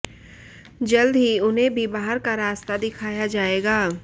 जल्द ही उन्हें भी बाहर का रास्ता दिखाया जाएगा